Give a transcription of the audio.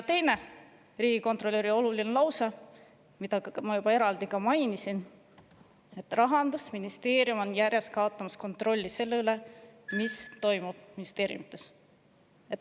Teine riigikontrolöri oluline lause, mida ma enne juba eraldi mainisin, on see, et Rahandusministeerium on järjest kaotamas kontrolli selle üle, mis toimub ministeeriumides.